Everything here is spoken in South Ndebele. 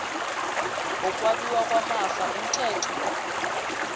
wokwabiwa kwamafa umthetho